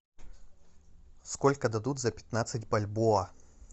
сколько дадут за пятнадцать бальбоа